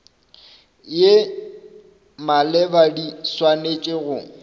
ye maleba di swanetše go